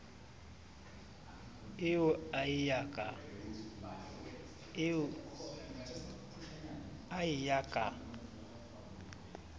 eo a e ya ka